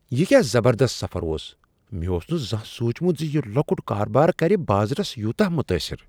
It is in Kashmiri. یہ کیٛاہ زبردست سفر اوس! مےٚ اوس نہٕ زانہہ سوچمت ز یہ لۄکٗٹ کاربار کرِ بازرس یوتاہ متاثر۔